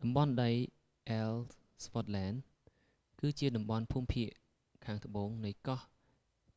តំបន់ដីអ៊ែលស្វ័ដឡែន ellsworth land គឺជាតំបន់ភូមិភាគខាងត្បូងនៃកោះ